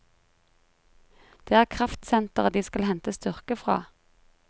Det er kraftsenteret de skal hente styrke fra.